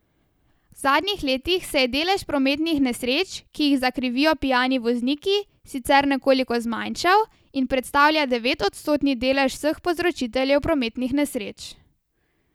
V zadnjih letih se je delež prometnih nesreč, ki jih zakrivijo pijani vozniki, sicer nekoliko zmanjšal in predstavlja devetodstotni delež vseh povzročiteljev prometnih nesreč.